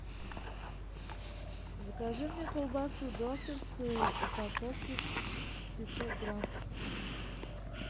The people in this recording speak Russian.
закажи мне колбасу докторскую упаковка пятьсот грамм